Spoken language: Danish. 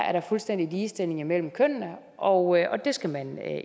er der fuldstændig ligestilling mellem kønnene og det skal man